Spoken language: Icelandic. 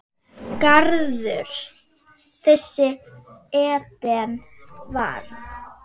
Garður þessi Eden varð.